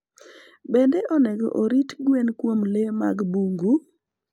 Be onego orit gwen kuom le mag bungu?